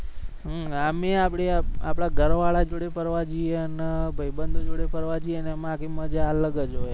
આમે આમ આપણે આપણા ઘર વાડા જોડે ફરવા જઈએ અને ભાઈબંદો જોડે ફરવા જઈએ એમા આખી મજા અલગ જ હોય.